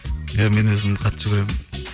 иә мен өзім қатты жүгіремін